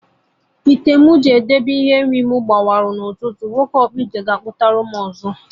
Ite m na-edebe ihe nri na ya gbawara n'ụtụtụ a, nwoke ọkpụite ga akputaram ọzọ echi